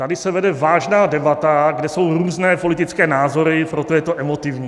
Tady se vede vážná debata, kde jsou různé politické názory, proto je to emotivní.